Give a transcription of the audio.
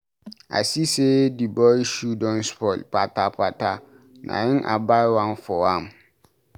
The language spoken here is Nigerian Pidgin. I see sey di boy shoe don spoil kpata-kpata na im I buy one for am.